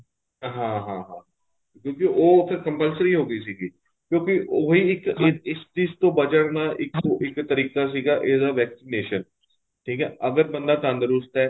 ਹਾਂ ਹਾਂ ਹਾਂ ਕਿਉਂਕਿ ਉਹ ਫ਼ੇਰ compulsory ਹੋ ਗਈ ਸੀਗੀ ਕਿਉਂਕਿ ਉਹੀ ਇੱਕ ਇਸ ਚੀਜ ਤੋ ਬਚਣ ਦਾ ਇੱਕੋ ਇੱਕ ਤਰੀਕਾ ਸੀਗਾ ਇਹਦਾ vaccination ਠੀਕ ਏ ਅਗਰ ਬੰਦਾ ਤੰਦਰੁਸਤ ਏ